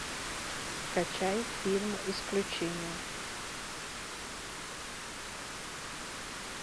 скачай фильм исключение